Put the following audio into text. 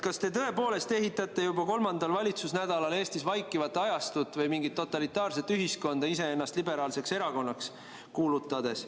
Kas te tõepoolest ehitate juba kolmandal valitsemise nädalal Eestis vaikivat ajastut või mingit totalitaarset ühiskonda, kuulutades iseennast liberaalseks erakonnaks?